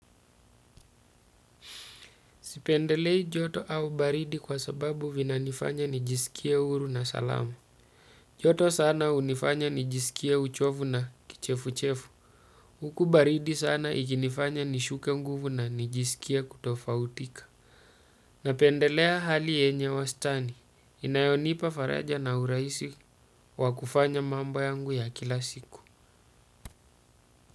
Sipendelei joto au baridi kwa sababu vina nifanya nijisikia uru na salamu. Joto sana unifanya nijisikia uchovu na kichefu-chefu. Huku baridi sana ikinifanya nishuke nguvu na nijisikie kutofautika. Napendelea hali yenye wastani. Inayonipa faraja na uraisi wakufanya mambo yangu ya kila siku.